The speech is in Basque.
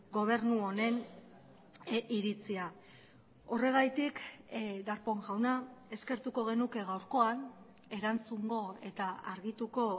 gobernu honeniritzia horregatik darpón jauna eskertuko genuke gaurkoan erantzungo eta argituko